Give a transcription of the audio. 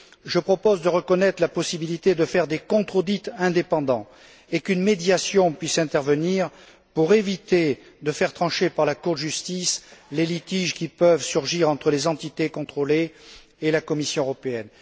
je propose de reconnaître la possibilité de faire des contre audits indépendants, et qu'une médiation puisse intervenir pour éviter de faire trancher par la Cour de justice les litiges qui peuvent surgir entre les entités contrôlées et la Commission européenne.